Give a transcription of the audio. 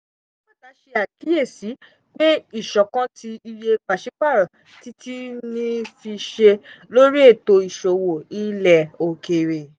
alágbàtà ṣàkíyèsí pé ìṣọ̀kan tí iye pàṣípàrọ̀ ti ti ní fiṣe lórí ètò ìṣòwò ilẹ̀ òkèèrè.